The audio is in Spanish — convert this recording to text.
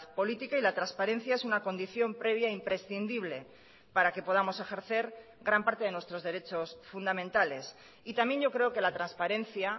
política y la transparencia es una condición previa imprescindible para que podamos ejercer gran parte de nuestros derechos fundamentales y también yo creo que la transparencia